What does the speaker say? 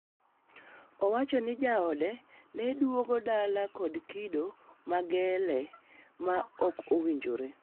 owacho ni jaode neduogo dala kod kido ma gele ma okwinjre.